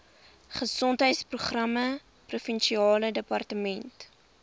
gesondheidsprogramme provinsiale departement